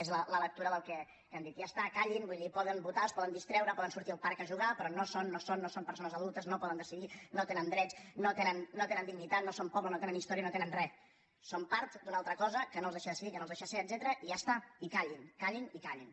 és la lectura del que han dit ja està callin vull dir poden votar es poden distreure poden sortir al parc a jugar però no són no són no són persones adultes no poden decidir no tenen drets no tenen dignitat no són poble no tenen història no tenen res són part d’una altra cosa que no els deixa decidir que no els deixa ser etcètera i ja està i callin callin i callin